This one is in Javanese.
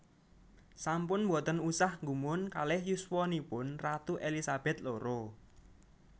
Sampun mboten usah nggumun kalih yuswanipun ratu Elizabeth loro